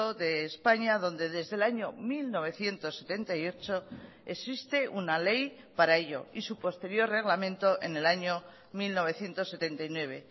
de españa donde desde el año mil novecientos setenta y ocho existe una ley para ello y su posterior reglamento en el año mil novecientos setenta y nueve